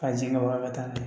A jigin ka bɔ a ka taa n'a ye